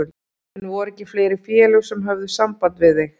En voru ekki fleiri félög sem höfðu samband við þig?